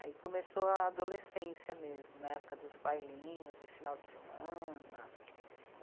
Aí começou a adolescência mesmo, na época dos bailinhos de final de semana.